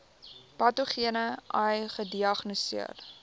patogene ai gediagnoseer